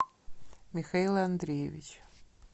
михаил андреевич